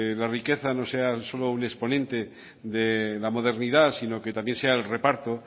la riqueza no sea solo un exponente de la modernidad sino que también sea el reparto